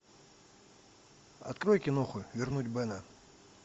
открой киноху вернуть бена